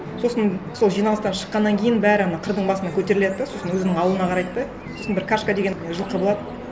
сосын сол жиналыстан шыққаннан кейін бәрі ана қырдың басына көтеріледі де сосын өзінің ауылына қарайды да сосын бір кашка деген жылқы болады